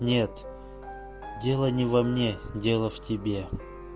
нет дело не во мне дело в тебе